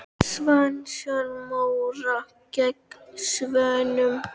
Svanasöngur Móra gegn Svönunum?